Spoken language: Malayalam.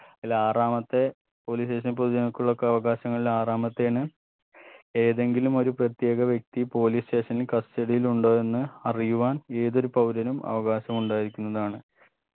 അലാറാമത്തെ police station ൽ പൊതുജനങ്ങൾക്കുള്ളകവകാശങ്ങളിൽ ആറാമത്തെയാണ് ഏതെങ്കിലും ഒരു പ്രത്യേക വ്യക്തി police station ൽ custody യിൽ ഉണ്ടോ എന്ന് അറിയുവാൻ ഏതൊരു പൗരനും അവകാശമുണ്ടായിരിക്കുന്നതാണ്